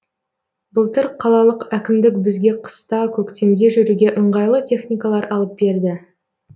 былтыр қалалық әкімдік бізге қыста көктемде жүруге ыңғайлы техникалар алып берді